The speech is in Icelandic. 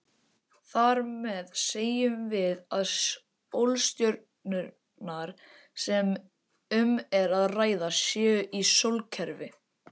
Þar með segjum við að sólstjörnurnar sem um er að ræða séu í sólkerfi.